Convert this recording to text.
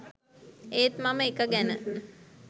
ඒත් මම එක ගැන